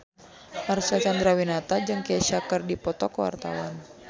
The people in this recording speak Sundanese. Marcel Chandrawinata jeung Kesha keur dipoto ku wartawan